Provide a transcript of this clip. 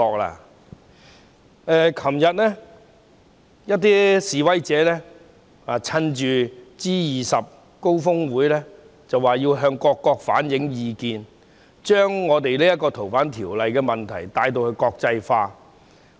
昨天，一批示威者趁着 G20 峰會，說要向各國反映意見，把《條例草案》的問題國際化。